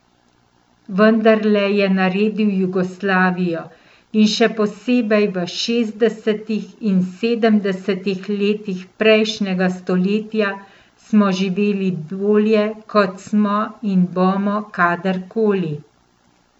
Vendarle je naredil Jugoslavijo in še posebej v šestdesetih in sedemdesetih letih prejšnjega stoletja smo živeli bolje, kot smo in bomo kadarkoli.